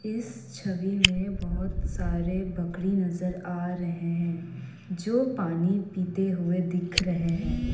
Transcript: इस छवि में बहुत सारे बकरी नजर आ रहे हैं जो पानी पीते हुए दिख रहे हैं।